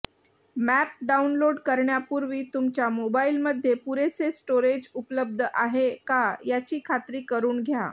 map download करण्यापुर्वी तुमच्या मोबाईलमध्ये पुरेसे स्टोरेज उपलब्ध आहे का याची खात्री करून घ्या